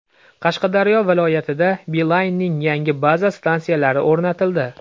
Qashqadaryo viloyatida Beeline’ning yangi baza stansiyalari o‘rnatildi.